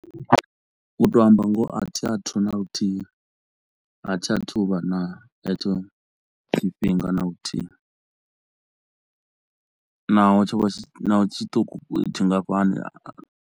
U to amba ngoho a thi a thu na luthihi a thi a thu vha na hetsho tshifhinga na luthihi, naho tsho vha tshi tshiṱuku tshingafhani a.